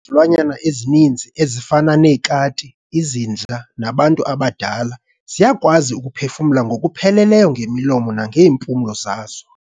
izilwanyana ezininzi, ezifana neekati, izinja, nabantu abadala, ziyakwazi ukuphefumla ngokupheleleyo ngemilomo, nangeempulo zazo.